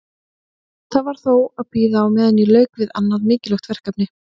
Það varð þó að bíða á meðan ég lauk við annað mikilvægt verkefni.